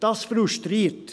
Das frustriert.